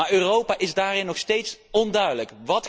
Maar Europa is daarin nog steeds onduidelijk.